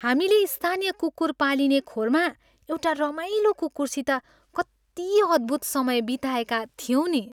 हामीले स्थानीय कुकुर पालिने खोरमा एउटा रमाइलो कुकुरसित कति अद्भुत समय बिताएका थियौँ नि।